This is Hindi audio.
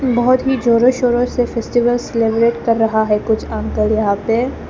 बहोत ही जोरों शोरों से फेस्टिवल्स सेलिब्रेट कर रहा है कुछ अंकल यहां पे--